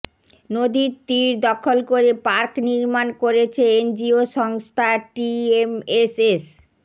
নদীর তীর দখল করে পার্ক নির্মাণ করেছে এনজিও সংস্থা টিএমএসএস